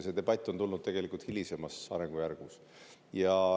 See debatt on tulnud tegelikult hilisemas arengujärgus.